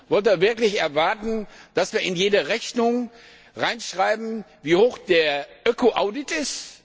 Wollt ihr wirklich erwarten, dass wir in jede Rechnung hineinschreiben, wie hoch der Öko Audit ist?